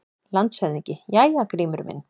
LANDSHÖFÐINGI: Jæja, Grímur minn!